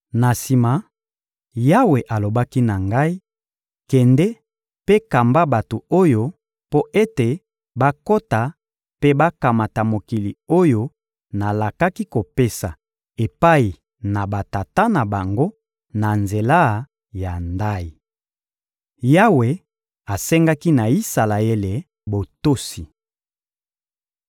Na sima, Yawe alobaki na ngai: «Kende mpe kamba bato oyo mpo ete bakota mpe bakamata mokili oyo nalakaki kopesa epai na batata na bango na nzela ya ndayi.» Yawe asengaki na Isalaele botosi